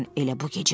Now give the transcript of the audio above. Elə bu gecə.